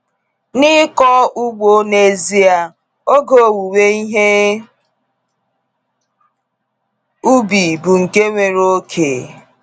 N’ịkọ ugbo n’ezie, oge owuwe ihe ubi bụ nke nwere oke.